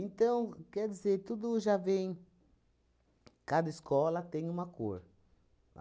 quer dizer, tudo já vem... Cada escola tem uma cor.